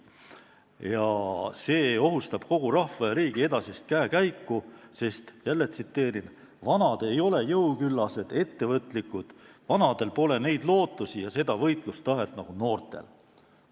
Ja see ohustab kogu rahva ja riigi edasist käekäiku, sest "vanad ei ole jõuküllased, ettevõtlikud, vanadel pole neid lootusi ja seda võitlustahet nagu noortel".